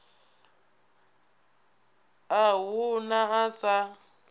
a hu na a sa